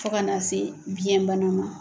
Fɔ kan'a se biyɛn bana ma